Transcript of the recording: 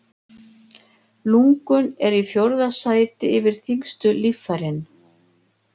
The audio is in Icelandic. Lungun eru í fjórða sæti yfir þyngstu líffærin.